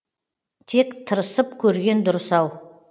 тек тырысып көрген дұрыс ау